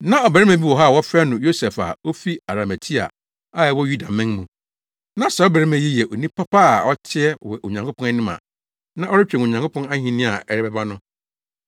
Na ɔbarima bi wɔ hɔ a wɔfrɛ no Yosef a ofi Arimatea a ɛwɔ Yudaman mu. Na saa ɔbarima yi yɛ onipa pa a ɔteɛ wɔ Onyankopɔn anim a na ɔretwɛn Onyankopɔn ahenni a ɛbɛba no.